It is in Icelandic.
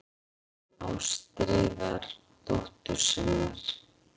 Ástríðar dóttur sinnar.